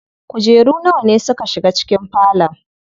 Kujeru nawa ne suka shiga cikin falon?